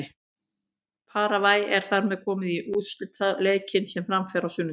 Paragvæ er þar með komið í úrslitaleikinn sem fram fer á sunnudaginn.